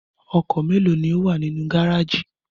Ọkọ̀ mélòó ni ó wà ní gárájì?